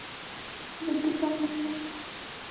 Hún vildi sanna að svo væri ekki.